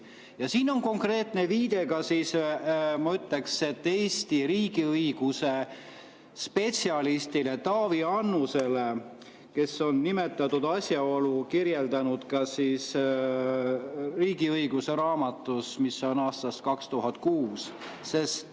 Ja siin on konkreetne viide ka, ma ütleksin, Eesti riigiõiguse spetsialistile Taavi Annusele, kes on nimetatud asjaolu kirjeldanud "Riigiõiguse" raamatus aastast 2006.